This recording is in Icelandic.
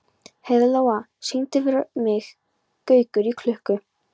Heiðlóa, syngdu fyrir mig „Gaukur í klukku“.